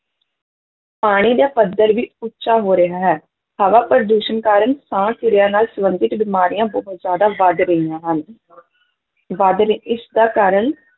ਪਾਣੀ ਦਾ ਪੱਧਰ ਵੀ ਉੱਚਾ ਹੋ ਰਿਹਾ ਹੈ, ਹਵਾ ਪ੍ਰਦੂਸ਼ਣ ਕਾਰਨ ਸਾਹ ਕਿਰਿਆ ਨਾਲ ਸੰਬੰਧਿਤ ਬਿਮਾਰੀਆਂ ਬਹੁਤ ਜ਼ਿਆਦਾ ਵੱਧ ਰਹੀਆਂ ਹਨ ਵੱਧ ਰਹੀ, ਇਸਦਾ ਕਾਰਨ